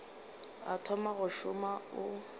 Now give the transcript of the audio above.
o thoma go šoma o